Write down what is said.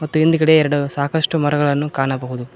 ಮತ್ತು ಹಿಂದಗಡೆ ಎರಡು ಸಾಕಷ್ಟು ಮರಗಳನ್ನು ಕಾಣಬಹುದು.